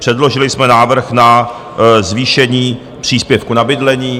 Předložili jsme návrh na zvýšení příspěvku na bydlení...